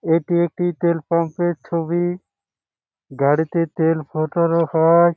এটি একটি তেল পাম্পের ছবিইই গাড়িতে তেল রাখা হয় ।